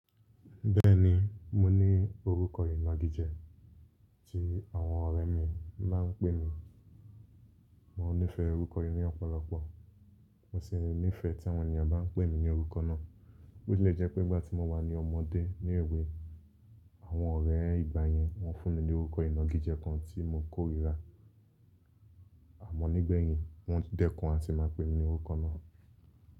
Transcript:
Bẹ́ẹ̀ni, mo ní orúkọ ìnagijẹ tí àwọn ọ̀rẹ́ mi máa ń pè mí. Mo nífẹ̀ẹ́ orúkọ yìí ni ọ̀pọ̀lọpọ̀, mo sì nífẹ̀ẹ́ tí àwọn ènìyàn bá ń pè mí ní orúkọ náà. Ó lè jẹ́ pé nígbà tí mo wà ní ọmọdé ní èwe, àwọn ọ̀rẹ́ ìgbà yẹn wọ́n fún mi ní orúkọ ìnagijẹ kan tí mo kórìíra. Àmọ́ nígbẹ̀yìn, wọ́n dẹ́kun àti máa pè mí ní orúkọ náà.